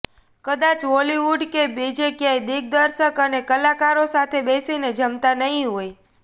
કદાચ હોલિવૂડ કે બીજે ક્યાંય દિગ્દર્શક અને કલાકારો સાથે બેસીને જમતા નહીં હોય